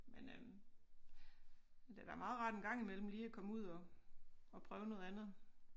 Men øh det være meget rart en gang imellem lige komme ud og og prøve noget andet